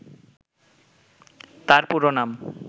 তার পুরো নাম